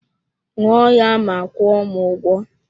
Ṅụọ ya ma kwuo m ụgwọ